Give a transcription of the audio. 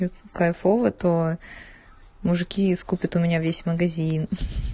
кайфово это мужики искупит у меня весь магазин